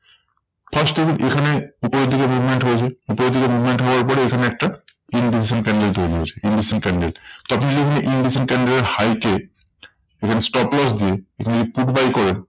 First দেখুন এখানে উপরের দিকে movement হয়েছে। উপরের দিকে movement হওয়ার পরে এখানে একটা invisible candle তৈরী হয়েছে invisible candle. তখন যদি আমরা invisible candle এর high কে এখানে stop loss দিই, এখানে যদি put buy করেন